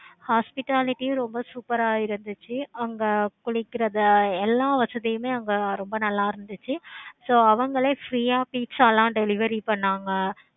hospitality ரொம்ப சூப்பரா இருந்துச்சி. அங்க குளிக்கிறது எல்லாம் வசதியும் அங்க ரொம்ப நல்ல இருந்துச்சி. so அவங்களே free ஆஹ் pizza லாம் delivery பண்ணாங்க.